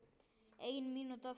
Ein mínúta eftir.